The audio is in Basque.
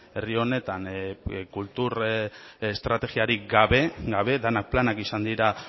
herri honetan kultur estrategiarik gabe denak planak izan dira